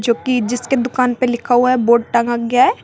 की जिसके दुकान पे लिखा हुआ है बोर्ड टांगा गया है।